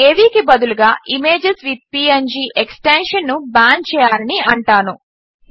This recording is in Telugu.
ఇప్పుడు అవి కి బదులుగా ఇమేజెస్ విత్ పీఎన్జీ ఎక్స్టెన్షన్ ను బ్యాన్ చేయాలని అంటాను